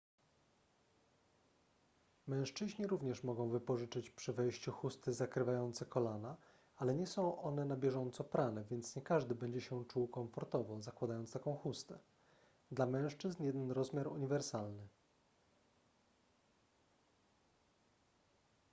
mężczyźni również mogą wypożyczyć przy wejściu chusty zakrywające kolana ale nie są one na bieżąco prane więc nie każdy będzie się czuł komfortowo zakładając taką chustę dla mężczyzn jeden rozmiar uniwersalny